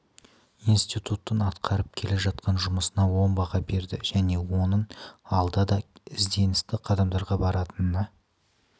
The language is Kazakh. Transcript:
институттың атқарып келе жатқан жұмысына оң баға берді және оның алда да ізденісті қадамдарға баратынына